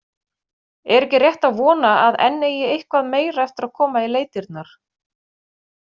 Er ekki rétt að vona, að enn eigi eitthvað meira eftir að koma í leitirnar?